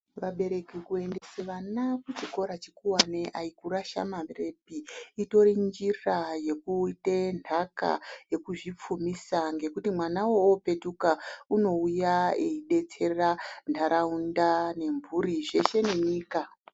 Vabereki kuendesa vana kuchikora chikowane aikurasha marepi itori njira yekuite ndaka yekuzvipfumisa nekuti mwana uwowo opetuka unouya eibetsera ntharaunda nemburi zveshe nenyika.